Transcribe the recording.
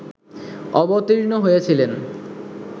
অবতীর্ণ হইয়াছিলেন